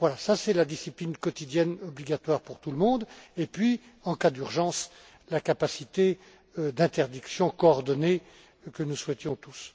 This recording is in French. Voilà, il s'agit là de la discipline quotidienne obligatoire pour tout le monde et puis il y a en cas d'urgence, la capacité d'interdiction coordonnée que nous souhaitions